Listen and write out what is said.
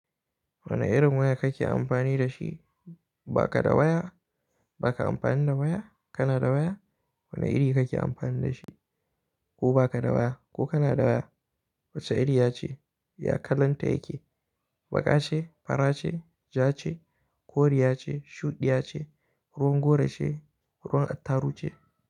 Wane irin waya kake amfani da shi? Ba ka da waya? Ba ka amfani da waya? Kana da waya? Wane iri kake amfani da shi? Ko ba ka da waya ko kana da waya? Wace iriya ce? Ya kalanta yake? Baƙa ce, fara ce, ja ce, koriya ce, shuɗiya ce, ruwan gora ce, ruwan attaru ce?